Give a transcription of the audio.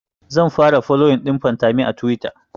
zan fara foloyin ɗin fantami a tuwita